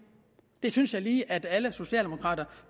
det synes jeg lige at alle socialdemokrater